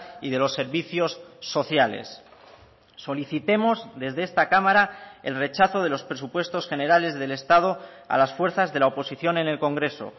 y de los servicios sociales solicitemos desde esta cámara el rechazo de los presupuestos generales del estado a las fuerzas de la oposición en el congreso